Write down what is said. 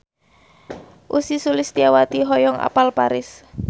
Ussy Sulistyawati hoyong apal Paris